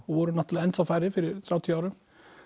og voru náttúrulega enn þá færri fyrir þrjátíu árum